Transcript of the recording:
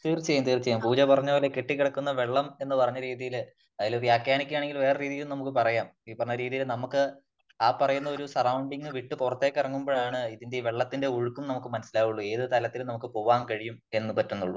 തീർച്ചയായും തീർച്ചയായും . പൂജ പറഞ്ഞത് പോലെ കെട്ടി കിടക്കുന്ന വെള്ളം എന്ന് പറഞ്ഞ രീതിയില് അതില് വ്യാഖ്യാനിക്കുകയാണെങ്കിൽ നമുക്ക് വേറെ ഒരു രീതിയില് പറയാം . ഈ പറഞ്ഞ രീതിയില് നമുക്ക് ആ പറയുന്ന ഒരു സെറൌണ്ടിങ് വിട്ട് പുറത്തേക്ക് ഇറങ്ങുമ്പോഴാണ് ഇതിന്റെ വെള്ളത്തിന്റെ ഒഴുക്കും നമുക്ക് മനസ്സിലാകുളളൂ . ഏത് തലത്തിൽ നമുക്ക് പോകാൻ കഴിയും എന്ന് പറ്റുന്നുള്ളൂ .